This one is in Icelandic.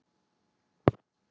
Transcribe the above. Viltu ljóstra því upp?